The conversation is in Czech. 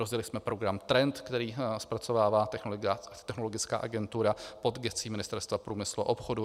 Rozjeli jsme program Trend, který zpracovává Technologická agentura pod gescí Ministerstva průmyslu a obchodu.